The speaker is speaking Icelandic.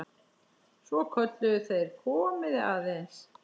Svo kölluðu þeir: Komiði aðeins!